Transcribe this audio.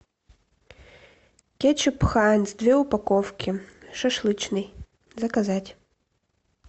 кетчуп хайнс две упаковки шашлычный заказать